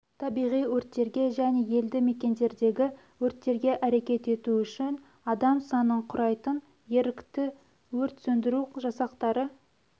табиғи өрттерге және елді мекендердегі өрттерге әрекет ету үшін адам санын құрайтын ерікті өрт сөндіру жасақтары